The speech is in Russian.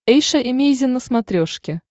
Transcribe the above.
эйша эмейзин на смотрешке